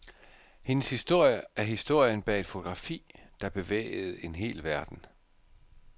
Hendes historie er historien bag et fotografi, der bevægede en hel verden.